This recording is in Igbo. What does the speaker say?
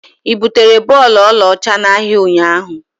Ị butere bọọlụ ọlaọcha n'ahịa ụnyahụ?